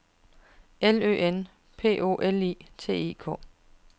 L Ø N P O L I T I K